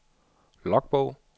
logbog